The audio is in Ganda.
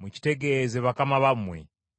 mukitegeeze bakama bammwe.